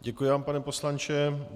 Děkuji vám, pane poslanče.